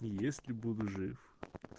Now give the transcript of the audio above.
если буду жив